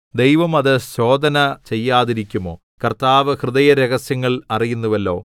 ദൈവം അത് ശോധന ചെയ്യാതിരിക്കുമോ കർത്താവ് ഹൃദയ രഹസ്യങ്ങൾ അറിയുന്നുവല്ലോ